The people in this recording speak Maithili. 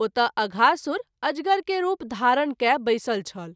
ओतय अघासुर अजगर के रूप धारण कय बैसल छल।